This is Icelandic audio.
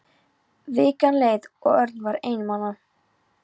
Vikan leið og Örn var einmana.